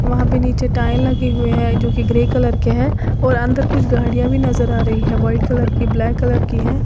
वहां पे नीचे टाइल लगी हुई है जो की ग्रे कलर की है और अंदर कुछ गाड़ियां भी नजर आ रही हैं व्हाइट कलर की ब्लैक कलर की हैं।